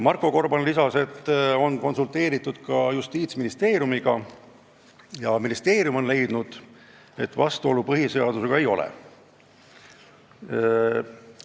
Marko Gorban rääkis, et juba on konsulteeritud Justiitsministeeriumiga, kes on leidnud, et põhiseadusega vastuolu ei ole.